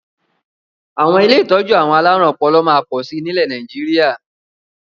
Àwọn ilé ìtọ́jú àwọn alárùn ọpọlọ máa pọ̀ sí nilẹ Nàìjíríà